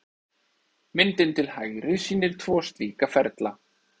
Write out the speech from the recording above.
Myndin til hægri sýnir tvo slíka ferla.